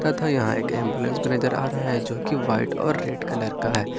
तथा यहां एक एम्बुलेंच नजर आ रह है जो कि वाइट और ब्लैक कलर का है।